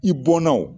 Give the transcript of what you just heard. I bɔnna o